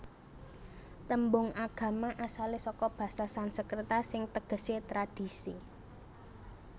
Tembung agama asalé saka basa Sansekerta sing tegesé tradhisi